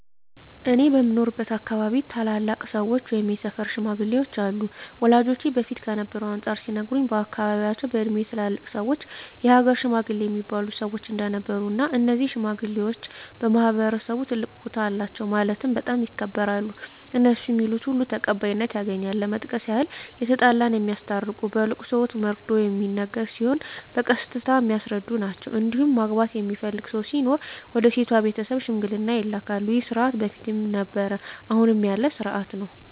እኔ በምኖርበት አካባቢ ታላላቅ ሰዎች ወይም የሰፈር ሽማግሌዎች አሉ ወላጆቼ በፊት ከነበረው አንፃር ሲነግሩኝ በአካባቢያቸው በእድሜ ትላልቅ ሰዎች የሀገር ሽማግሌ እሚባሉ ሰዎች እንደነበሩ እና እነዚህ ሽማግሌዎች በማህበረሰቡ ትልቅ ቦታ አላቸው ማለትም በጣም ይከበራሉ እነሡ ሚሉት ሁሉ ተቀባይነት ያገኛል ለመጥቀስ ያክል የተጣላ የሚያስታርቁ በለቅሶ ወቅት መርዶ ሚነገር ሲሆን በቀስታ የሚያስረዱ ናቸዉ እንዲሁም ማግባት የሚፈልግ ሰው ሲኖር ወደ ሴቷ ቤተሰብ ሽምግልና ይላካሉ ይህ ስርዓት በፊትም ነበረ አሁንም ያለ ስርአት ነው።